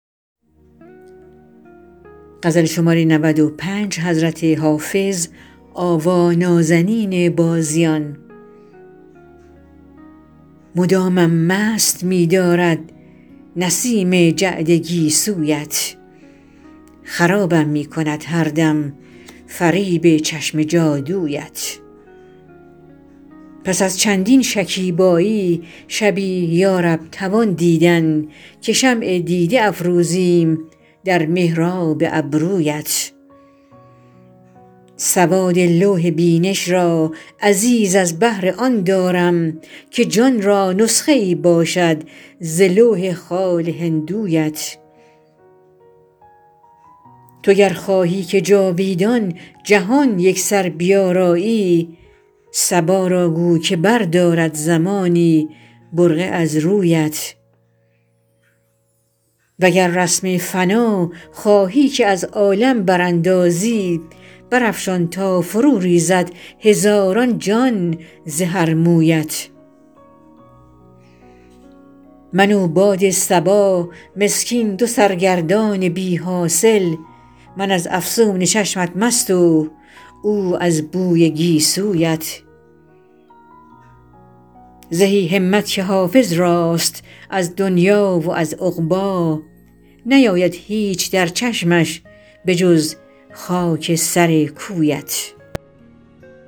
مدامم مست می دارد نسیم جعد گیسویت خرابم می کند هر دم فریب چشم جادویت پس از چندین شکیبایی شبی یا رب توان دیدن که شمع دیده افروزیم در محراب ابرویت سواد لوح بینش را عزیز از بهر آن دارم که جان را نسخه ای باشد ز لوح خال هندویت تو گر خواهی که جاویدان جهان یکسر بیارایی صبا را گو که بردارد زمانی برقع از رویت و گر رسم فنا خواهی که از عالم براندازی برافشان تا فروریزد هزاران جان ز هر مویت من و باد صبا مسکین دو سرگردان بی حاصل من از افسون چشمت مست و او از بوی گیسویت زهی همت که حافظ راست از دنیی و از عقبی نیاید هیچ در چشمش به جز خاک سر کویت